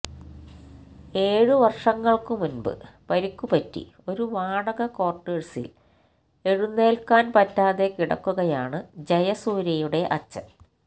ഏഴു വർഷങ്ങൾക്കു മുൻപ് പരിക്കുപറ്റി ഒരു വാടക ക്വാർട്ടേഴ്സിൽ എഴുന്നേൽക്കാൻ പറ്റാതെ കിടക്കുകയാണ് ജയസൂര്യയുടെ അച്ഛൻ